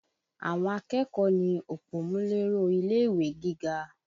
Àwọn akẹ́kọ̀ọ́ ni òpómúléró ilé-ìwé gíga